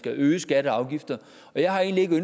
øge skatter og afgifter og jeg har egentlig